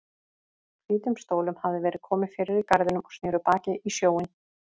Hvítum stólum hafði verið komið fyrir í garðinum og sneru baki í sjóinn.